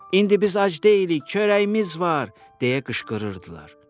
İndi biz ac deyilik, çörəyimiz var, deyə qışqırırdılar.